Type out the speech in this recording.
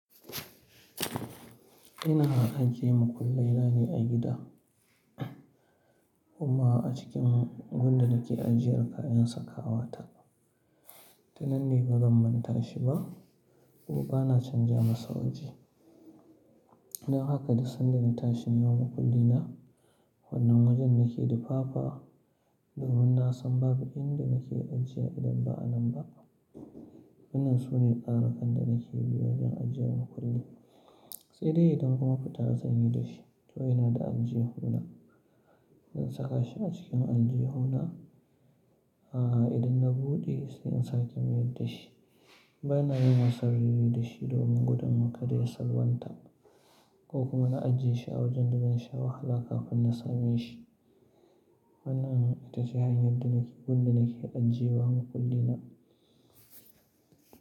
Ina ajiye makulle na ne a gida, amma a cikin gun da na ke ajiyar kayan sakawa ta. Ta nan ne ban zan manta da shi ba kuma ba na canza masa waje. Don haka duk sanda na tashi neman makulli na, wannan wajen nake dufafa domin na san babu inda nake ajiyewa idan ba a nan ba. Wannan sune tsarukan da nake bi wajen ajiye makulli na. Sai dai idan kuma fita zan yi da shi to ina da aljihuna, zan saka shi a cikin aljihuna. A idan na buɗe sai in sake mayar da shi. Bana yin wasa raini da shi domin gudun ka da ya salwanta ko kuma na ajiye shi a wajen da zan sha wahala kafin na same shi. Wannan ita ce hanyar da nake, gun da nake ajiyewa makulli na.